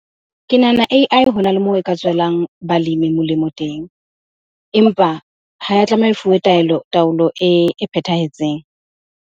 Ke nahana A_I hona le moo e ka tswelang balemi molemo teng. Empa ha ya tlameha e fuwe taelo, taolo e phethahetseng.